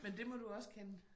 Men det må du også kende?